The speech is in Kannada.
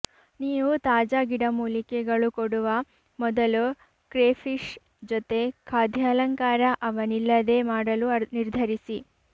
ನೀವು ತಾಜಾ ಗಿಡಮೂಲಿಕೆಗಳು ಕೊಡುವ ಮೊದಲು ಕ್ರೇಫಿಷ್ ಜೊತೆ ಖಾದ್ಯಾಲಂಕಾರ ಅವನಿಲ್ಲದೇ ಮಾಡಲು ನಿರ್ಧರಿಸಿ